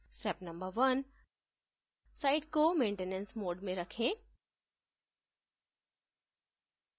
step no 1: site को maintenance mode में रखें